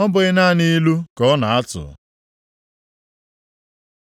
‘Ọ bụghị naanị ilu ka ọ na-atụ?’ ”